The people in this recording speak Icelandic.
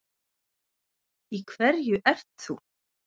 Í hverju ert þú?